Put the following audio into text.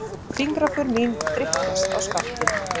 Fingraför mín þrykkjast á skaftið.